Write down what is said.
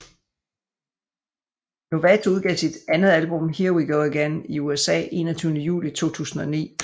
Lovato udgav sit andet album Here We Go Again i USA 21 Juli 2009